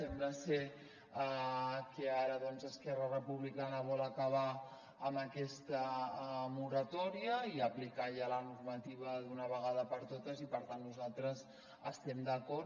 sembla ser que ara esquerra republicana vol acabar amb aquesta moratòria i aplicar ja la normativa d’una vegada per totes i per tant nosaltres hi estem d’acord